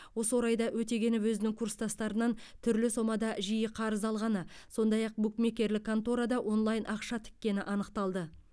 осы орайда өтегенов өзінің курстастарынан түрлі сомада жиі қарыз алғаны сондай ақ букмекерлік конторада онлайн ақша тіккені анықталды